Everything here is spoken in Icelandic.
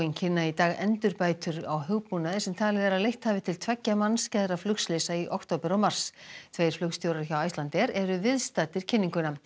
kynna í dag endurbætur á hugbúnaði sem talið er að leitt hafi til tveggja mannskæðra flugslysa í október og mars tveir flugstjórar hjá Icelandair eru viðstaddir kynninguna